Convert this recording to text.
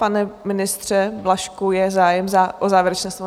Pane ministře Blažku, je zájem o závěrečné slovo?